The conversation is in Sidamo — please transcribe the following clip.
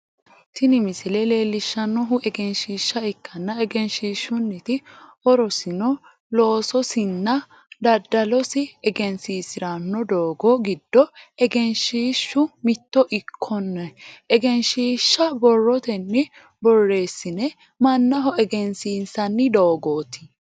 Tini misile leelishanohu egenshiisha ikkanna egenshishunniti horosino loososinna dadalosi egensiisirano doogo gido egenshiishu mitto ikone egenshiisha borotenni boreesine manaho egensiisanni dogooti.